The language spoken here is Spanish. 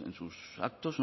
en sus actos